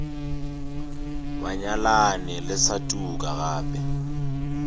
banyalani le sa tuka gape